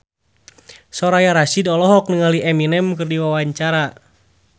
Soraya Rasyid olohok ningali Eminem keur diwawancara